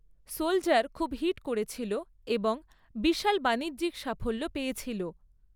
‘Soldier' খুব hit করেছিল এবং বিশাল বাণিজ্যিক সাফল্য পেয়েছিল।